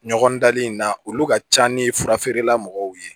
Ɲɔgɔn dali in na olu ka ca ni fura feerela mɔgɔw ye